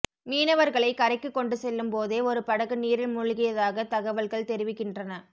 மீனவர்களை கரைக்கு கொண்டு செல்லும் போதே ஒரு படகு நீரில் மூழ்கியதாகத் தகவல்கள் தெரிவிக்கின்றன